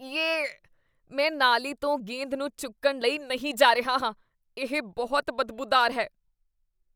yay, ਮੈਂ ਨਾਲੀ ਤੋਂ ਗੇਂਦ ਨੂੰ ਚੁੱਕਣ ਲਈ ਨਹੀਂ ਜਾ ਰਿਹਾ ਹਾਂ ਇਹ ਬਹੁਤ ਬਦਬੂਦਾਰ ਹੈ